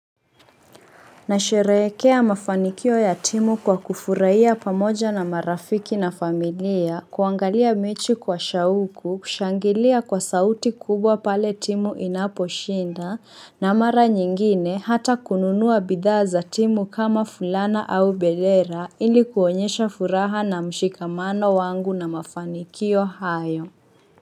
Nasherehekea mafanikio ya timu kwa kufurahia pamoja na marafiki na familia, kuangalia mechi kwa shauku, kushangilia kwa sauti kubwa pale timu inaposhinda, na mara nyingine hata kununua bidhaa za timu kama fulana au bendera ili kuonyesha furaha na mshikamano wangu na mafanikio hayo.